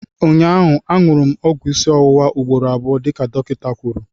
Ụnyaahụ, añụrụ m ọgwụ isi ọwụwa ugboro abụọ dịka dọkịta kwuru